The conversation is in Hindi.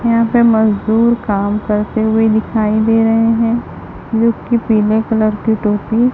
यहां पे मजदूर काम करते हुए दिखाई दे रहे हैं जोकि पीले कलर की टोपी--